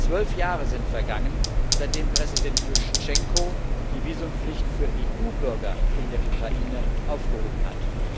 Zwölf Jahre sind vergangen, seitdem Präsident Juschtschenko die Visumpflicht für EU Bürger in der Ukraine aufgehoben hat.